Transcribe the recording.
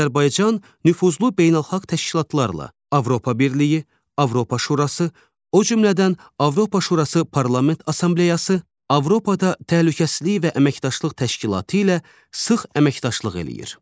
Azərbaycan nüfuzlu beynəlxalq təşkilatlarla: Avropa Birliyi, Avropa Şurası, o cümlədən Avropa Şurası Parlament Assambleyası, Avropada təhlükəsizlik və əməkdaşlıq təşkilatı ilə sıx əməkdaşlıq eləyir.